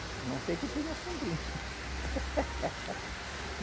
A não ser que tenha sombrinha.